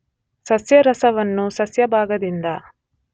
ಸಸ್ಯರಸವನ್ನು ಸಸ್ಯಭಾಗದಿಂದ